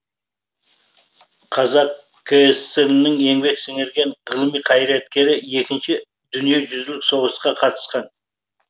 қазақ кср інің еңбек сіңірген ғылым қайраткері екінші дүниежүзүлік соғысқа қатысқан